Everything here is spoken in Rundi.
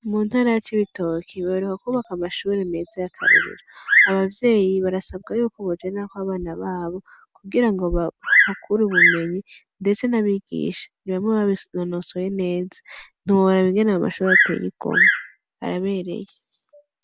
Mu ntara ya Cibitoke baheruka kubaka amashuri meza y'akarorero, abavyeyi barasabwa yuko bojanako abana babo kugira ngo bahakure ubumenyi, ndetse n'abigisha ni bamwe babinonosoye neza, ntiworaba ingene ayo mashuri ateye igomwe, arabereye.